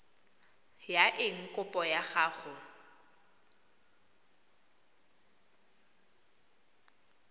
ya eng kopo ya gago